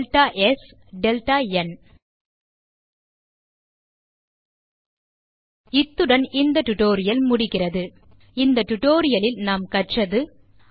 delta s delta n இத்துடன் இந்த tutorial முடிகிறது இந்த tutorialலில் நாம் கற்றது